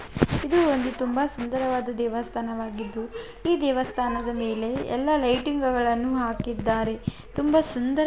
ಇದು ಒಂದು ತುಂಬಾ ಸುಂದರವಾದ ದೇವಸ್ಥಾನವಾಗಿದ್ದು ಈ ದೇವಸ್ಥಾನದ ಮೇಲೆ ಎಲ್ಲ ಲೈಟಿಂಗ್ಗಳನ್ನೂ ಹಾಕಿದ್ದಾರೆ. ತುಂಬಾ ಸುಂದರ--